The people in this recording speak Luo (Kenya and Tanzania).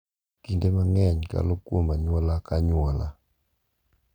Kinde mang’eny, kalo kuom anyuola ka anyuola.